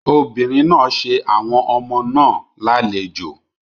Obìnrin náà ṣe àwọn ọmọ náà lálejò.